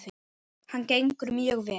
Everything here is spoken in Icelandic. Hann gengur mjög vel.